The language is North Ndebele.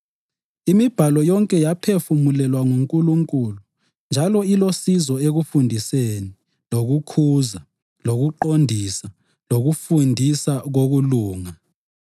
IMibhalo yonke yaphefumulelwa nguNkulunkulu njalo ilosizo ekufundiseni, lokukhuza, lokuqondisa, lokufundisa ngokulunga,